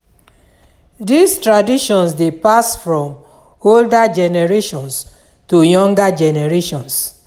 These traditions de pass from older generations to younger generations